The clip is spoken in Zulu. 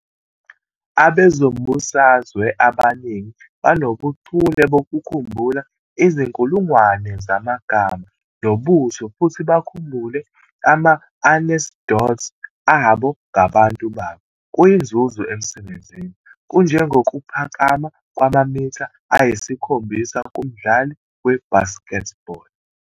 Abezombusazwe abaningi banobuchule bokukhumbula izinkulungwane zamagama nobuso futhi bakhumbule ama-anecdotes abo ngabantu babo - kuyinzuzo emsebenzini, kunjengokuphakama kwamamitha ayisikhombisa kumdlali we-basketball.